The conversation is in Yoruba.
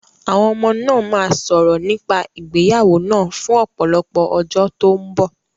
Àwọn ọmọ náà máa sọ̀rọ̀ nípa ìgbéyàwó náà fún ọ̀pọ̀lọpọ̀ ọjọ́ tó ń bọ̀.